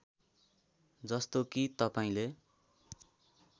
जस्तो कि तपाईँले